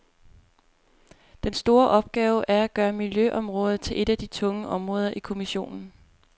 Den store opgave er at gøre miljøområdet til et af de tunge områder i kommissionen.